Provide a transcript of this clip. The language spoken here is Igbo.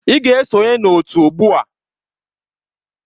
Ị ga-esonye na otu ugbu a!